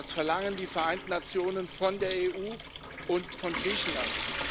Das verlangen die Vereinten Nationen von der EU und von Griechenland.